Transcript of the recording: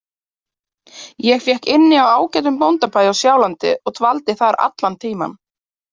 Ég fékk inni á ágætum bóndabæ á Sjálandi og dvaldi þar allan tímann.